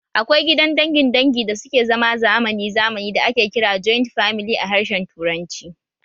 Akwai gidan dangin dangi da suke zama zamani zamani da ake kira joint famili a harshen Turanci